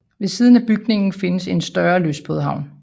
Ved siden af bygningen findes et større lystbådehavn